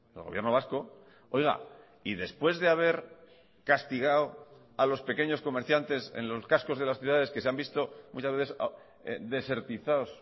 el gobierno vasco y después de haber castigado a los pequeños comerciantes en los cascos de las ciudades que se han visto muchas veces desertizados